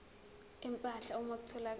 empahla uma kutholakala